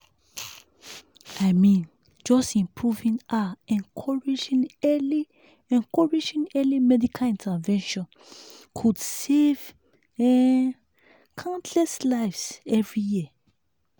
i mean just improving ah encouraging early encouraging early medical intervention could save um countless lives every year.